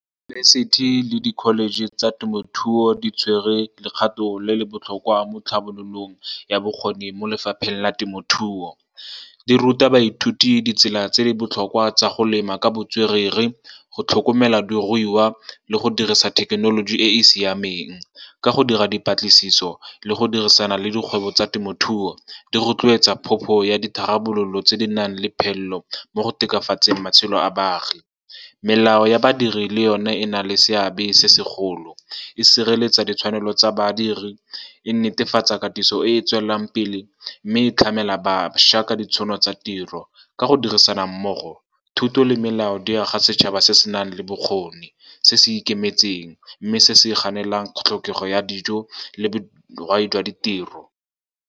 Diyunibesithi le di-college tsa temothuo di tshwerwe lekgato le le botlhokwa mo tlhabololong ya bokgoni mo lefapheng la temothuo. Di ruta baithuti ditsela tse di botlhokwa tsa go lema ka botswerere, go tlhokomela diruiwa, le go dirisa thekenoloji e e siameng. Ka go dira dipatlisiso le go dirisana le dikgwebo tsa temothuo, di rotloetsa phopho ya ditharabololo tse di nang le phelelo mo go tokafatseng matshelo a baagi. Melao ya badiri le yone e na le seabe se segolo, e sireletsa ditshwanelo tsa badiri, e netefatsa katiso e e tswelelang pele, mme e tlhamela bašwa ka ditšhono tsa tiro. Ka go dirisana mmogo, thuto le melao di aga setšhaba se se nang le bokgoni, se se ikemetseng, mme se se kganelang tlhokego ya dijo le dirai jwa ditiro.